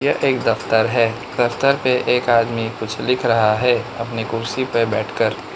यह एक दफ्तर है दफ्तर पे एक आदमी कुछ लिख रहा है अपनी कुर्सी पे बैठ कर।